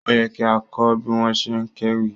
Ó yẹ kí a kọ́ bí wọ́n ṣe ń kéwì.